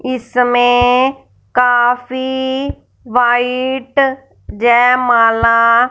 इसमें काफी व्हाइट जयमाला--